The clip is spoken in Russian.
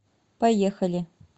поехали